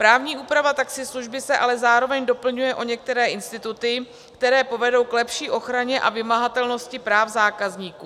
Právní úprava taxislužby se ale zároveň doplňuje o některé instituty, které povedou k lepší ochraně a vymahatelnosti práv zákazníků.